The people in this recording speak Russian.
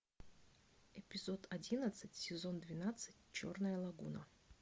эпизод одиннадцать сезон двенадцать черная лагуна